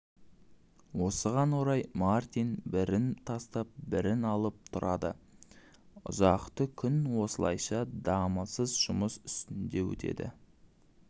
осыған орай мартин бірін тастап бірін алып тұрады ұзақты күн осылайша дамылсыз жұмыс үстінде өтеді